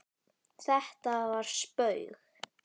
Þetta var spaug